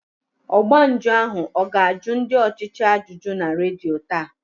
Ọgba njụ ahụ ọ ga-ajụ ndị ọchịchị ajụjụ na redio taa?